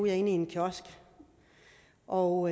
jeg inde i en kiosk og